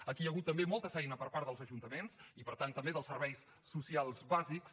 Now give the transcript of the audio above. aquí hi ha hagut també molta feina per part dels ajuntaments i per tant també dels serveis socials bàsics